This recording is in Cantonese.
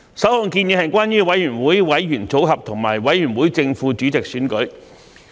首項建議，是關於委員會委員組合及委員會正副主席選舉。